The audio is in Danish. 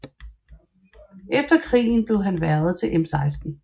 Efter krigen blev han hvervet til MI6